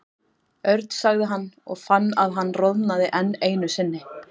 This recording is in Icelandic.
Örn sagði hann og fann að hann roðnaði enn einu sinni.